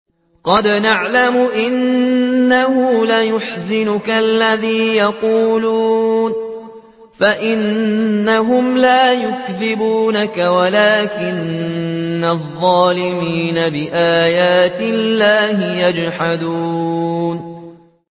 قَدْ نَعْلَمُ إِنَّهُ لَيَحْزُنُكَ الَّذِي يَقُولُونَ ۖ فَإِنَّهُمْ لَا يُكَذِّبُونَكَ وَلَٰكِنَّ الظَّالِمِينَ بِآيَاتِ اللَّهِ يَجْحَدُونَ